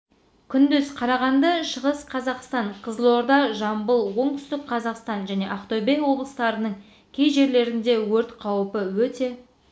күндіз қарағанды шығыс қазақстан ызылорда жамбыл отүстік қазақстан және ақтөбе облыстарының кей жерлерінде өрт қаупі өте